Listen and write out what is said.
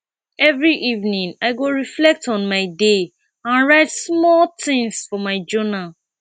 every evening i go reflect on my day and write small things for my journal